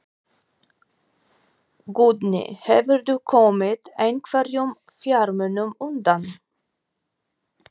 Guðný: Hefurðu komið einhverjum fjármunum undan?